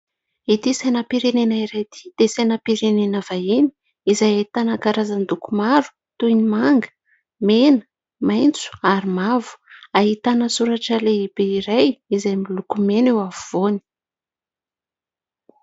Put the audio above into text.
Ity sainam-pirenena iray ity dia sainam-pirenena vahiny izay ahitana karazan-doko maro toy ny manga, mena, maitso ary mavo ; ahitana soratra lehibe iray izay miloko mena eo afovoany.